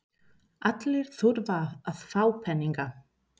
Allir þurfa að fá peninga.